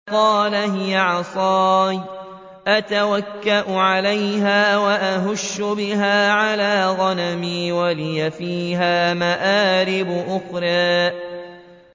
قَالَ هِيَ عَصَايَ أَتَوَكَّأُ عَلَيْهَا وَأَهُشُّ بِهَا عَلَىٰ غَنَمِي وَلِيَ فِيهَا مَآرِبُ أُخْرَىٰ